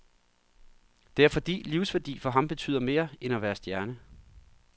Det er fordi livsværdi for ham betyder mere end at være stjerne.